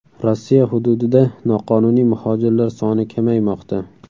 Rossiya hududida noqonuniy muhojirlar soni kamaymoqda.